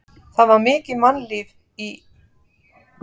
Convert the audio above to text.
Bróðir minn er íþróttafréttamaður.